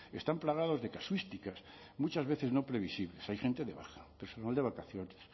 están plagados de casuísticas muchas veces no previsibles hay gente de baja personal de vacaciones